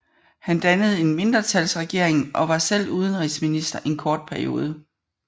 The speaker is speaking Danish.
Han dannede en mindretalsregering og var selv udenrigsminister en kort periode